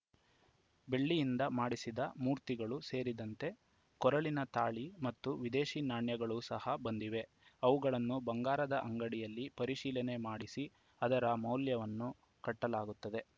ಬೆಳ್ಳಿಯಿಂದ ಮಾಡಿಸಿದ ಮುರ್ತಿಗಳು ಸೇರಿದಂತೆ ಕೊರಳಿನ ತಾಳಿ ಮತ್ತು ವಿದೇಶಿ ನಾಣ್ಯಗಳು ಸಹ ಬಂದಿವೆ ಅವುಗಳನ್ನು ಬಂಗಾರದ ಅಂಗಡಿಯಲ್ಲಿ ಪರಿಶೀಲನೆ ಮಾಡಿಸಿ ಅದರ ಮೌಲ್ಯವನ್ನು ಕಟ್ಟಲಾಗುತ್ತದೆ